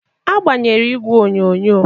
A gbanyere igwe onyonyo.